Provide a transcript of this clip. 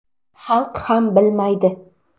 Xalq ham bilmaydi”.